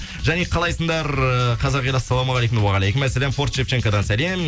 және қалайсыңдар қазақ елі ассалаумағалейкум уағалейкумассалям форт шевченкодан сәлем